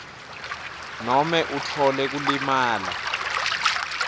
nobe utfole kulimala